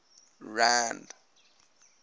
rand